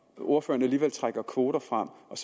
ordføreren alligevel trækker kvoter frem og